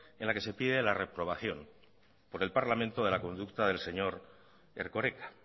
en la que se pide la reprobación por el parlamento de la conducta del señor erkoreka